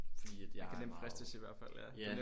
Fordi at jeg er meget ja